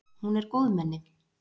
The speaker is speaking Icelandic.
Hún er góðmenni.